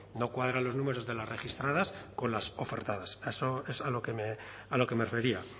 no cuadran los números de las registradas con las ofertadas eso es a lo que me refería